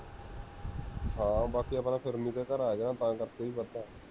ਹਾਂ ਬਾਕੀ ਆਪਣਾ ਫਿਰਨੀ ਤੇ ਘਰ ਆ ਗਿਆ ਨਾ ਤਾਂ ਕਰ ਕੇ ਵੀ ਵਧਦਾ ਹੈ